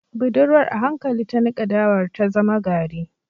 Budurwar a hankali ta nika dawar ta zama gari